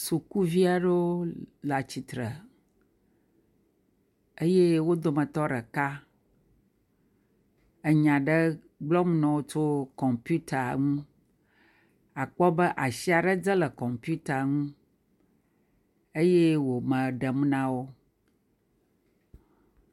sukuviaɖewo le atsitre eye wó dometɔ ɖeka enya gblɔm nowo tso kɔmputa ŋu akpɔ be asi aɖe dze le kɔmputa dzi eye wò me ɖem nawo